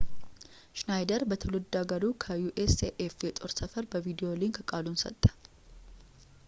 ሽናይደር በትውልድ ሃገሩ ከ usaf የጦር ሰፈር በቪዲዮ ሊንክ ቃሉን ሰጠ